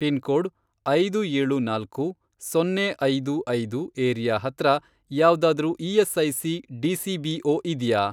Pin code, ಐದು ಏಳು ನಾಲ್ಕು, ಸೊನ್ನೆ ಐದು ಐದು, ಏರಿಯಾ ಹತ್ರ ಯಾವ್ದಾದ್ರೂ ಇ.ಎಸ್.ಐ.ಸಿ. ಡಿ.ಸಿ.ಬಿ.ಓ. ಇದ್ಯಾ?